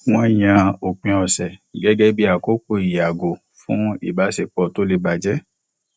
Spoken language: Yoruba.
wọn yàn òpin ọsẹ gẹgẹ bí àkókò ìyàgò fún ìbáṣepọ tó lè bàjẹ